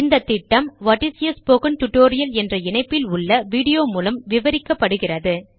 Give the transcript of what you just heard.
இந்த திட்டம் what is a spoken tutorial என்ற இணைப்பில் உள்ள வீடியோ மூலம் விவரிக்கப்படுகிறது